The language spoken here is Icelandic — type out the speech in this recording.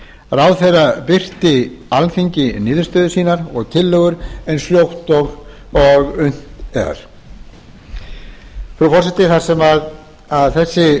ráðherra birti alþingi niðurstöður sínar og tillögur eins fljótt og unnt er frú forseti þessi